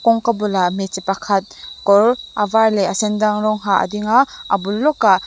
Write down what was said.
kawngka bulah hmeichhe pakhat kawr a var leh a sendang rawng ha a ding a a bul lawkah--